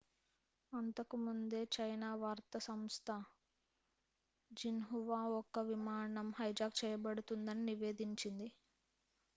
అంతకు ముందే చైనా వార్తా సంస్థ జిన్హువా ఒక విమానం హైజాక్ చేయబడుతుందని నివేదించింది